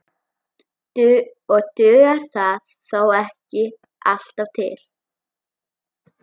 Og dugar það þó ekki alltaf til.